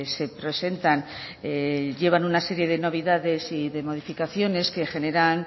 se presentan llevan una serie de novedades y de modificaciones que generan